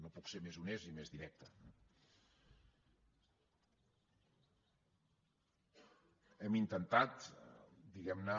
no puc ser més honest i més directe eh hem intentat diguemne